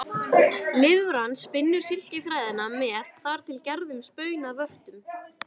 Lirfan spinnur silkiþræðina með þar til gerðum spunavörtum.